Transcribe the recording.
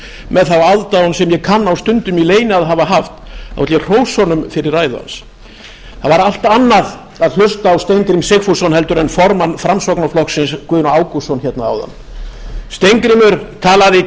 með þá aðdáun sem ég kann á stundum í leyni að hafa haft ætla ég að hrósa honum fyrir ræðu hans það var allt annað að hlusta á steingrím sigfússon en formann framsóknarflokksins guðna ágústsson hérna áðan steingrímur talaði